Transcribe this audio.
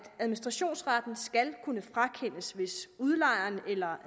administrationsretten skal kunne frakendes hvis udlejeren eller